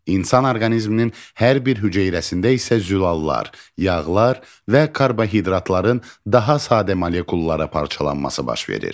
İnsan orqanizminin hər bir hüceyrəsində isə zülallar, yağlar və karbohidratların daha sadə molekullara parçalanması baş verir.